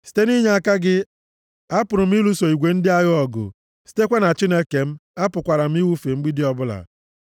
Site nʼinyeaka gị, apụrụ m ịlụso igwe ndị agha ọgụ, sitekwa na Chineke m, apụkwara m ịwụfe mgbidi ọbụla.